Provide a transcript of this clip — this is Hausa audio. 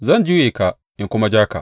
Zan juya ka in kuma ja ka.